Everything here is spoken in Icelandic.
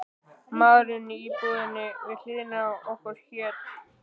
Maðurinn í íbúðinni við hliðina á okkur hét